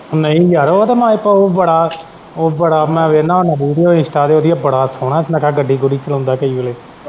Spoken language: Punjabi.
ਉਹ ਨਹੀਂ ਯਾਰ ਉਹ ਤੇ ਮੈਂ ਬੜਾ ਉਹ ਬੜਾ ਮੈਂ ਵੇਖਦਾ ਹੁੰਦਾ ਵੀਡੀਉ ਇੰਸ਼ਟਾ ਤੇ ਉਹਦੀਆਂ ਬੜਾ ਸੋਹਣਾ ਸੁਨੱਖਾ ਗੱਡੀ ਗੁੱਡੀ ਚਲਾਉਂਦਾ ਕਈ ਵਾਰੀ।